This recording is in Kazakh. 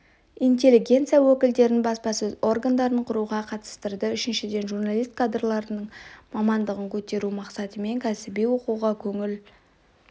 интеллигенция өкілдерін баспасөз органдарын құруға қатыстырды үшіншіден журналист кадрларының мамандығын көтеру мақсатымен кәсіби оқуға көңіл